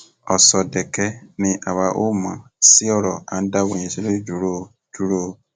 ọsọdẹkẹ ni àwa ò mọ sí ọrọ à ń dáwọ ìyanṣẹlódì dúró o dúró o